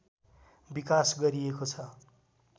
विकास गरिएको छ